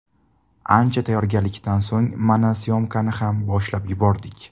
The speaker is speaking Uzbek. Ancha tayyorgarlikdan so‘ng, mana, s’yomkani ham boshlab yubordik.